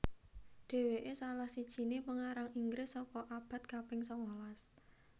Dhéwéké salah sijiné pengarang Inggris saka abad kaping sangalas